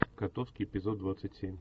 котовский эпизод двадцать семь